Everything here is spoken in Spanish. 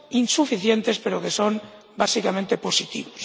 insuficientes, pero que son básicamente positivos.